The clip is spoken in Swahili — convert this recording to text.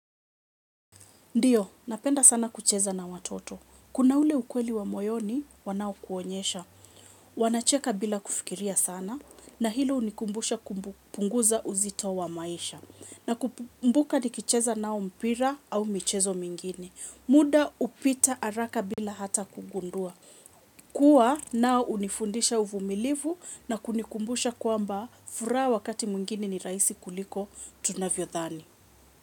Ndiyo, napenda sana kucheza na watoto. Kuna ule ukweli wa moyoni, wanao kuonyesha. Wanacheka bila kufikiria sana. Na hilo unikumbusha kumbu punguza uzito wa maisha. Na kumbuka nikicheza nao mpira au michezo mingine. Muda upita araka bila hata kugundua. Kuwa nao unifundisha uvumilivu na kunikumbusha kwamba furaha wakati mwingine ni rahisi kuliko tunavyo dhani.